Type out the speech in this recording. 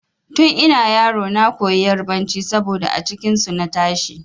Tun ina yaro na koyi yarbanci saboda a cikin su na tashi.